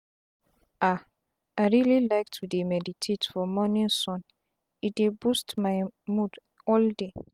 ah i reali like to dey meditate for morning sun e dey boost my mood all day.